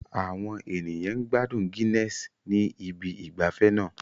Àwọn ènìyàn ń gbádùn Guinness ní ibi ìgbafẹ́ náà